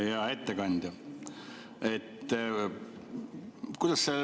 Hea ettekandja!